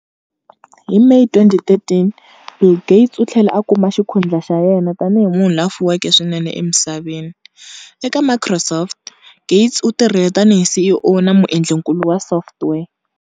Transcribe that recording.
Hi May 2013, Bill Gates u tlhele a kuma xikhundlha xa yena tanihi munhu la fuweke swinene emisaveni. Eka Microsoft, Gates u tirhile tanihi CEO na muendlinkulu wa software.